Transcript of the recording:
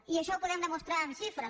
i això ho podem demostrar amb xifres